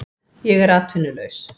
Ég er atvinnulaus